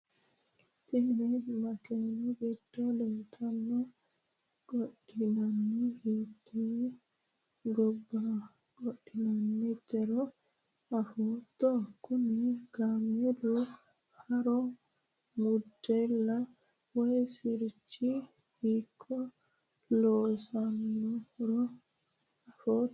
tini makeenu giddo leeltanno qodhaano hiittee gobba qodhaanootiro afootto? kuni kaameelu haaro model woyi sirchi hiikko loosaminohoro afootto ati ?